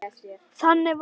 Þannig var Lilla.